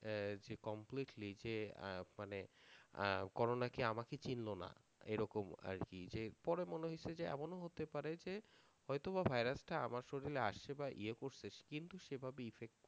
আহ যে completely যে আহ মানে আহ corona কি আমাকে চিনলোনা এরকম আরকি যে পরে মনে হয়ছে যে এমন হতে পারে যে হয়তো বা virus টা আমার শরীরে আসছে বা য়ে করছে কিন্তু সেভাবে effect